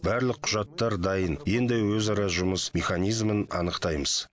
барлық құжаттар дайын енді өзара жұмыс механизмін анықтаймыз